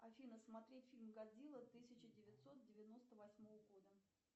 афина смотреть фильм годзилла тысяча девятьсот девяносто восьмого года